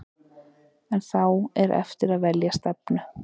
En þá er eftir að velja stefnu.